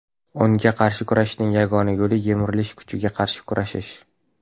Unga qarshi kurashishning yagona yo‘li yemirilish kuchiga qarshi kurashish.